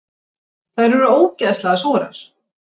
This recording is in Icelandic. Þær eru ógeðslega súrar.